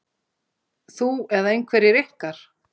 Þú eða einhverjir ykkar?